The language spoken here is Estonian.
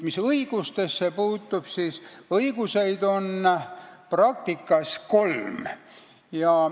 Mis õigustesse puutub, siis neid on praktikas kolm.